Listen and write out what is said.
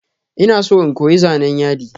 Ina son in koyi zanan yadi.